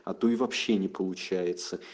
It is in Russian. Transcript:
а то и вообще не получается